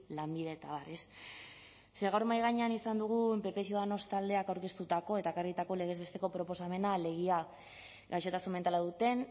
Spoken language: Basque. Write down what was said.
lanbide eta abar ez ze gaur mahai gainean izan dugun pp ciudadanos taldeak aurkeztutako eta ekarritako legez besteko proposamena alegia gaixotasun mentala duten